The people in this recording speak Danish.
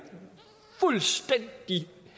fuldstændig